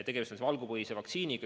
Tegemist on valgupõhise vaktsiiniga.